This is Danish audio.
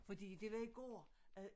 Fordi det var i går